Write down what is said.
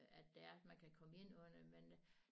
At det er man kan komme ind under men